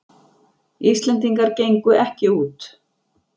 Íslendingar gengu ekki út